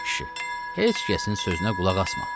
Ay kişi, heç kəsin sözünə qulaq asma.